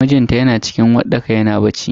Mijinta yana cikin uwarɗaka yana bacci.